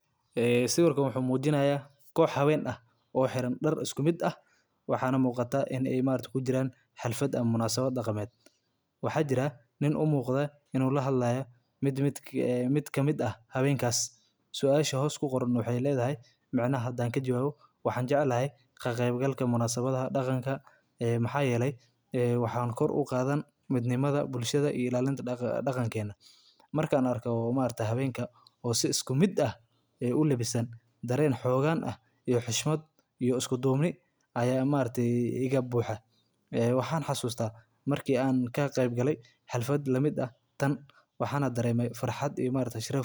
Waa urur haween ah oo muhiim ah oo ka shaqeeya horumarinta bulshada iyo kor u qaadida awooda haweenka ee deegaanka ay ku nool yihiin. Ururkan waxa uu ka shaqeeyaa sidii haweenku uga qayb qaadan lahaayeen go’aan qaadashada, horumarinta xirfadaha, iyo ilaalinta xuquuqda haweenka. Waxaa la aasaasay si loo xoojiyo wadajirka haweenka, loona dhiirrigeliyo inay helaan fursado